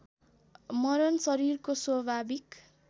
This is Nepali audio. मरण शरीरको स्वाभाविक